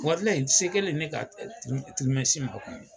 se kɛlen ne ka ma